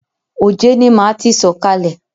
Òjé ni máa ti sọ̀kalè.